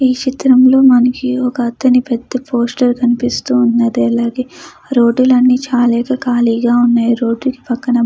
ఈ చిత్రంలో మనకి ఒక అతని పెద్ద పోస్టర్ కనిపిస్తూ ఉన్నది. అలాగే రోడ్డు లన్ని చాలా ఖాళీగా ఉన్నాయి. రోడ్డుకి పక్కన --